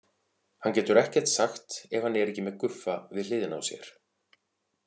Hann getur ekkert sagt ef hann er ekki með Guffa við hliðina á sér.